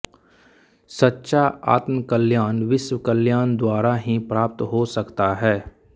सच्चा आत्मकल्याण विश्व कल्याण द्वारा ही प्राप्त हो सकता है